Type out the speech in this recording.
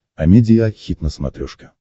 амедиа хит на смотрешке